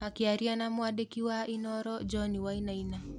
Akĩaria na mwandĩki wa Inooro John Wainaina.